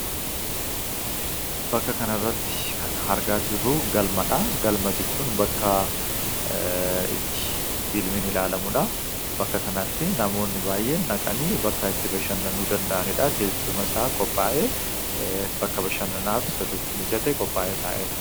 bakka kana irratti kan argaa jirru galmadhaa . galma jechuun bakka itti filmiin ilaalamuudha .bakka kanatti namoonni baay'een dhaqanii bakka itti bashannanuu danda'aniidha . teessuma isaa qophaa'ee bashannanaaf sirriitti mijate qophaa'ee taa'ee dha